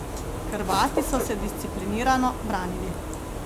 Hrvati so se disciplinirano branili.